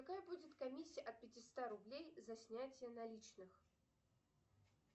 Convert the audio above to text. какая будет комиссия от пятиста рублей за снятие наличных